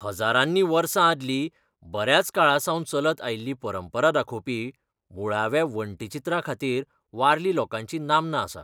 हजारांनी वर्सां आदली बऱ्याच काळासावन चलत आयिल्ली परंपरा दाखोवपी मुळाव्या वण्टी चित्रां खातीर वारली लोकांची नामना आसा.